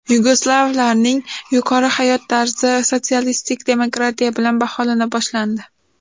Yugoslavlarning yuqori hayot tarzi sotsialistik demokratiya bilan baholana boshlandi.